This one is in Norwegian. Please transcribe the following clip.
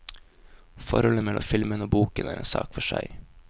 Forholdet mellom filmen og boken er en sak for seg.